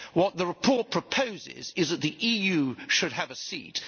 What the report proposes is that the EU should have a seat.